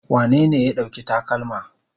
Wanene ya ɗauki takalma?